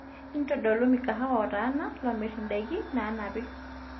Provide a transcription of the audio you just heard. intodolu mikahawa ootaana loomirr endaki naanapi